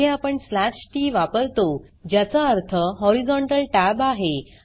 येथे आपण slash TT वापरतो ज्याचा अर्थ हॉरिझोंटल tab आहे